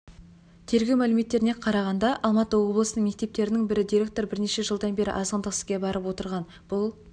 тергеу мәліметтеріне қарағанда алматы облысындағы мектептердің бірінің директоры бірнеше жылдан бері азғындық іске барып отырған бұл